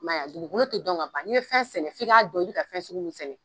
I m'a ye wa? Dugukolo tɛ dɔn ka ban, n'i ye fɛn sɛnɛ f''i k'a dɔn i bɛ ka fɛn sugu min de sɛnɛ.